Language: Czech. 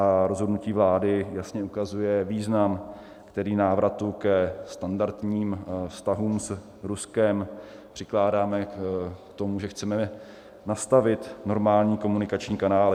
A rozhodnutí vlády jasně ukazuje význam, který návratu ke standardním vztahům s Ruskem přikládáme, k tomu, že chceme nastavit normální komunikační kanály.